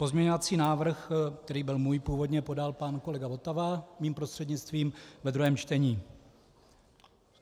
Pozměňovací návrh, který byl můj původně, podal pan kolega Votava, mým prostřednictvím, ve druhém čtení.